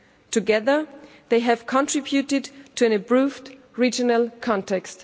Together these have contributed to an improved regional context.